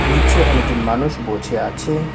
নীচে অনেকজন মানুষ বচে আছে।